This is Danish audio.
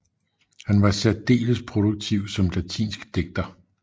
Han var særdeles produktiv som latinsk digter